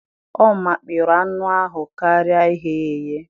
Ọ mikpọrọ anụ ahụ karịa ighe ya eghe